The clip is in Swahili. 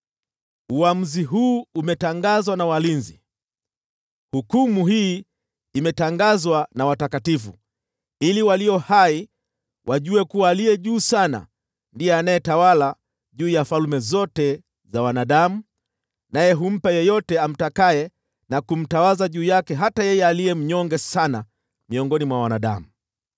“ ‘Uamuzi huu umetangazwa na walinzi, hukumu imetangazwa na watakatifu, ili walio hai wajue kuwa Aliye Juu Sana ndiye anayetawala juu ya falme zote za wanadamu, naye humpa yeyote amtakaye na kumtawaza juu yake hata yeye aliye mnyonge sana miongoni mwa wanadamu.’